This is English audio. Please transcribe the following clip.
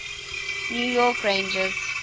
new york rangers